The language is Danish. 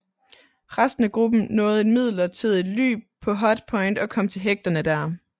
Resten af gruppen nåede et midlertidigt ly på Hut Point og kom til hægterne der